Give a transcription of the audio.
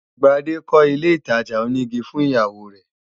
Gbade kọ́ ilé ìtajà onígi fún ìyàwó rẹ